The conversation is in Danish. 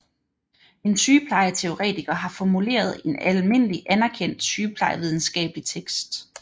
En sygeplejeteoretiker har formuleret en almindeligt anerkendt sygeplejevidenskabelig tekst